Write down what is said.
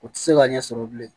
U tɛ se ka ɲɛ sɔrɔ bilen